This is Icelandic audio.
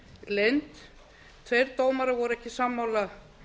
leynd tveir dómarar voru ekki sammála